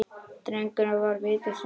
Drengur var viti sínu fjær.